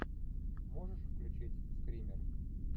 можешь включить стример